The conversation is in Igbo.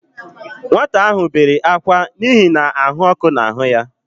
Nwata ahụ bere ákwá n'ihi na ahụ ọkụ na-ahụ ya